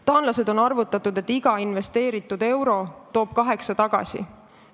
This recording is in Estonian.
Taanlased on arvutanud, et iga investeeritud euro toob kaheksa tagasi.